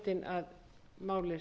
að málið